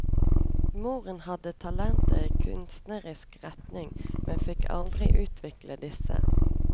Moren hadde talenter i kunstnerisk retning, men fikk aldri utvikle disse.